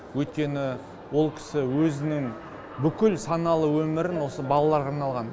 өйткені ол кісі өзінің бүкіл саналы өмірін осы балаларға арнаған